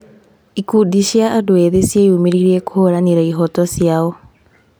Ikundi cia andũ ethĩ cieyumĩririe kũhũranĩra ihooto cio.